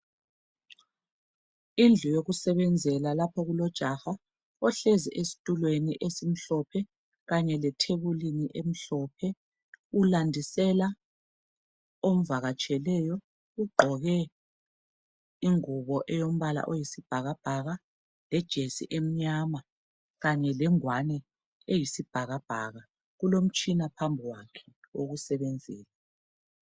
Indlu yokusebenzela lapho kulojaha ohlezi esitulweni esimhlophe kanye lethebulini emhlophe .Ulandisela omvakatsheleyo ugqoke ingubo elombala oyisibhakabhaka lejesi enyama kanye lengwani eyisibhakabhaka .Kulomtshina phambi kwakhe owokusebenzisa .